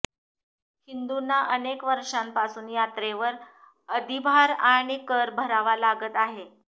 हिंदूंना अनेक वर्षांपासून यात्रेवर अधिभार आणि कर भरावा लागत आहे